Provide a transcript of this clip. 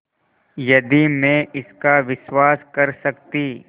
यदि मैं इसका विश्वास कर सकती